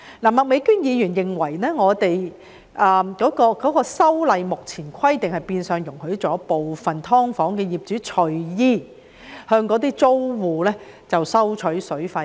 麥美娟議員認為，該規例目前的規定變相容許部分"劏房"業主隨意向租戶收取水費。